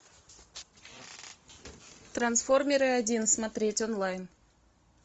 трансформеры один смотреть онлайн